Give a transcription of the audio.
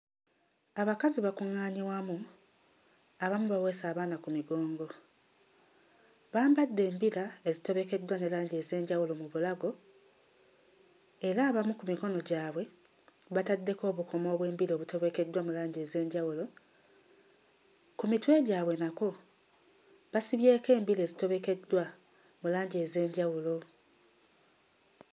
Abakazi bakuŋŋaanye wamu, abamu baweese abaana ku migongo. Bambadde embira ezitobekeddwa ne langi ez'enjawulo mu bulago era abamu ku mikono gyabwe bataddeko obukomo obw'embira obutobekeddwa mu langi ez'enjawulo. Ku mitwe gyabwe nakwo basibyeko embira ezitobekeddwa mu langi ez'enjawulo.